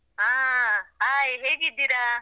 ಆ hai ಹೇಗಿದ್ದೀರಾ?